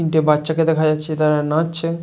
তিনটে বাচ্চাকে দেখা যাচ্ছে তারা নাচ ছে ।